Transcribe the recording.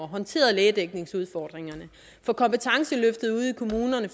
håndteret lægedækningsudfordringerne få kompetenceløftet ude i kommunerne